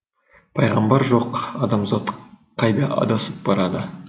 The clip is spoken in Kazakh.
пайғамбар жоқ адамзат қайда адасып барады